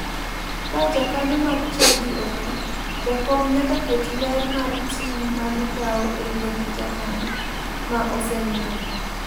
Ka jakanyo mar chadi otho, jakom nyaka ket ler mar ting' ma gikawo e liend jakanyo ma osenindono.